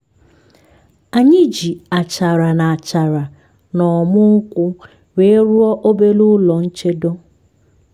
anyị ji achara na achara na ọmu nkwu wee rụọ obere ụlọ nchedo